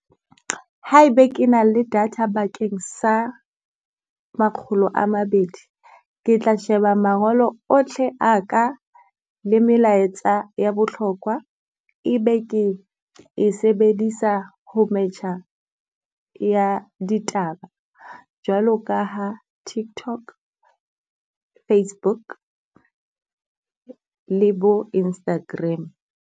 Haebe ke na le data bakeng sa makgolo a mabedi, ke tla sheba mangolo otlhe a ka le melaetsa ya bohlokwa e be ke e sebedisa ho metjha ya ditaba. Jwalo ka ha Tiktok, Facebook le bo Instagram.